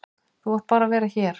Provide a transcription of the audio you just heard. Þú átt bara að vera hér.